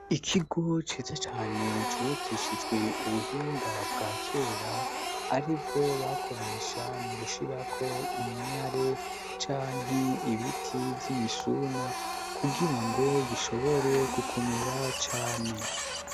Ikigo ciza cane cubakishijwe ubuhinga bwa kera, aribwo bakoresha mu gushirako iminyare canke ibiti vy'imisuna, kugira ngo gishobore gukomera cane.